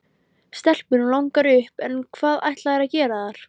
Stelpunum langar upp en hvað ætla þær að gera þar?